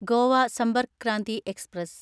Goa Sampark Kranti express